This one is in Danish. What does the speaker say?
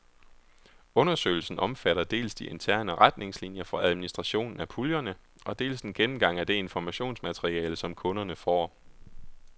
Undersøgelsen omfatter dels de interne retningslinier for administrationen af puljerne og dels en gennemgang af det informationsmateriale, som kunderne får.